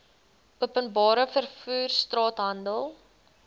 openbare vervoer straathandel